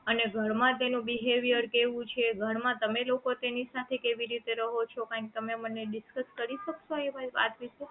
અને ઘરમાં તેનું behaviour કેવું છે ઘરમાં તમે લોકો તેની સાથે કેવી રીતે રહો છો કાઇંક તમે મને discuss કરી શકશો એ બધી વાત વિશે